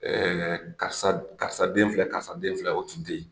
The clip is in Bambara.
karisa karisa den filɛ karisa den filɛ o tun tɛ yen.